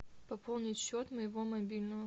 пополнить счет моего мобильного